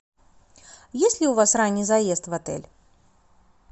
есть ли у вас ранний заезд в отель